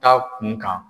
Taa kun kan